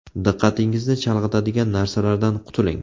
Diqqatingizni chalg‘itadigan narsalardan qutuling.